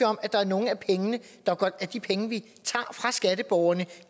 om at der er nogle af de penge vi tager fra skatteborgerne